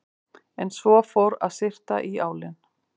En svo fór að syrta í álinn.